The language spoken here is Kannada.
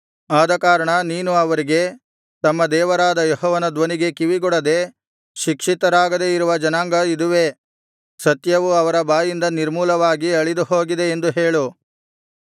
ಆದಕಾರಣ ನೀನು ಅವರಿಗೆ ತಮ್ಮ ದೇವರಾದ ಯೆಹೋವನ ಧ್ವನಿಗೆ ಕಿವಿಗೊಡದೆ ಶಿಕ್ಷಿತರಾಗದೆ ಇರುವ ಜನಾಂಗ ಇದುವೇ ಸತ್ಯವು ಅವರ ಬಾಯಿಂದ ನಿರ್ಮೂಲವಾಗಿ ಅಳಿದುಹೋಗಿದೆ ಎಂದು ಹೇಳು